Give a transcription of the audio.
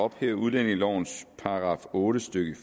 at ophæve udlændingelovens § otte stykke